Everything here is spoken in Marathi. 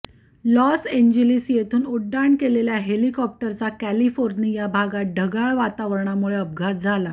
लॉस एंजिलीस येथून उड्डाण केलेल्या हेलिकॉप्टरचा कॅलिफोर्निया भागात ढगाळ वातावरणामुळे अपघात झाला